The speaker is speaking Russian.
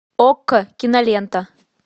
окко кинолента